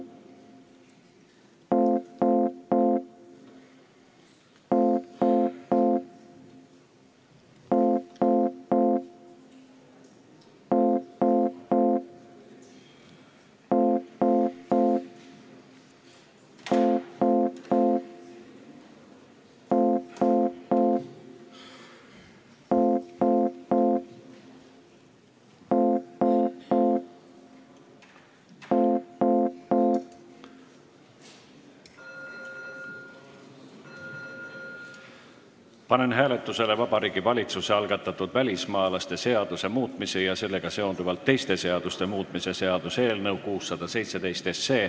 Panen hääletusele Vabariigi Valitsuse algatatud välismaalaste seaduse muutmise ja sellega seonduvalt teiste seaduste muutmise seaduse eelnõu 617.